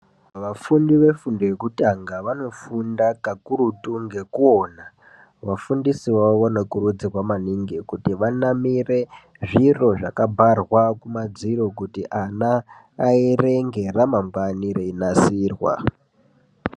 Vafundi vefundo yekutanga vanofunda kakurutu ngekuona vafundisi vavo vanokurudzirwa maningi kuti vanamire zviro zvakabharwa kumadziro kuti ana aerenge ramangwani reinasirwa.